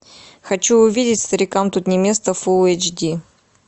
хочу увидеть старикам тут не место фул эйч ди